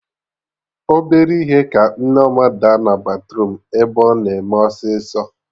Obere ihe ka Nneọma daa na batruum ebe ọ na eme ọsịsọ